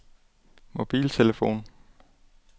mobiltelefon